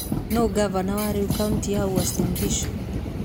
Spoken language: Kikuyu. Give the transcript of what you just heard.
Nũũ ngavana wa rĩu kaũntĩ-inĩ ya Uasin Gishu?